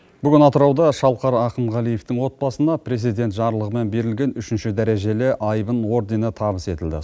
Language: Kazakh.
бүгін атырауда шалқар ахынғалиевтің отбасына президент жарлығымен берілген үшінші дәрежелі айбын ордені табыс етілді